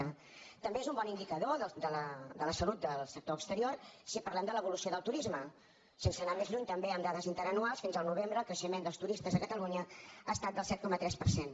tam·bé és un bon indicador de la salut del sector exterior si parlem de l’evolució del turisme sense anar més lluny també en dades interanuals fins al novembre el creixe·ment dels turistes a catalunya ha estat del set coma tres per cent